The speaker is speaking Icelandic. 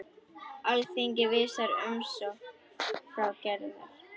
Alþingi vísar umsókn Gerðar frá.